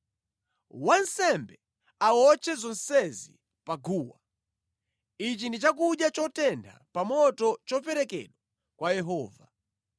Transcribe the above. Wansembe awotche zonsezi pa guwa. Ichi ndi chakudya chotentha pa moto choperekedwa kwa Yehova.